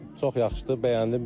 Çox yaxşıdır, bəyəndim.